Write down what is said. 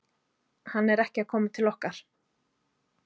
Hann er ekki að koma til okkar.